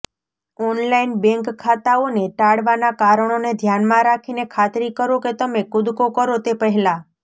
online bank ખાતાઓને ટાળવાનાં કારણોને ધ્યાનમાં રાખીને ખાતરી કરો કે તમે કૂદડો કરો તે પહેલાં